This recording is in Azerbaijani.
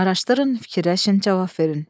Araşdırın, fikirləşin, cavab verin.